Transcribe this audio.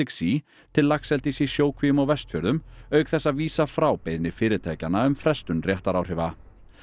Sea til laxeldis í sjókvíum á Vestfjörðum auk þess að vísa frá beiðni fyrirtækjanna um frestun réttaráhrifa